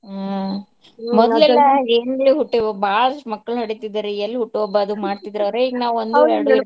ಹ್ಮ್ ಹುಟ್ಯಾಒ ಬಾಳಷ್ಟ್ ಮಕ್ಳ್ನ್ ಹಡಿತಿದ್ರ ರೀ ಎಲ್ ಹುಟ್ಟು ಹಬ್ಬ ಅದ ಮಾಡ್ತಿದ್ರ ರ್ ಈಗ್ ನಾವ್ ಒಂದು ಎರ್ಡೂ .